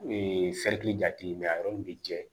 jate mɛ a yɔrɔ min bi jɛ